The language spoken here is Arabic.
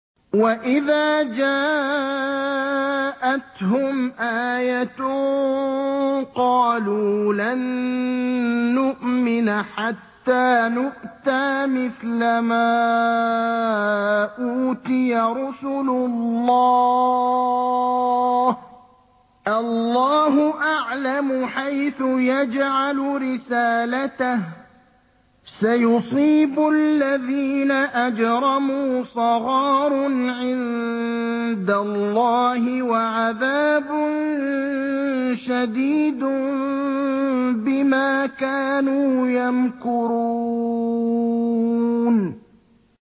وَإِذَا جَاءَتْهُمْ آيَةٌ قَالُوا لَن نُّؤْمِنَ حَتَّىٰ نُؤْتَىٰ مِثْلَ مَا أُوتِيَ رُسُلُ اللَّهِ ۘ اللَّهُ أَعْلَمُ حَيْثُ يَجْعَلُ رِسَالَتَهُ ۗ سَيُصِيبُ الَّذِينَ أَجْرَمُوا صَغَارٌ عِندَ اللَّهِ وَعَذَابٌ شَدِيدٌ بِمَا كَانُوا يَمْكُرُونَ